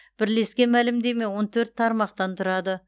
бірлескен мәлімдеме он төрт тармақтан тұрады